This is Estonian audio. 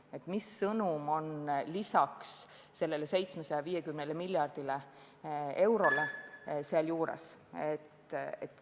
Seegi sõnum on sellel 750 miljardil eurol juures.